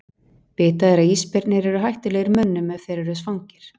Vitað er að ísbirnir eru hættulegir mönnum ef þeir eru svangir.